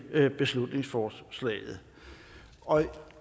beslutningsforslaget og